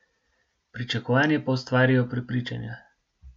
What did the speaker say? Pričakovanje pa ustvarijo prepričanja.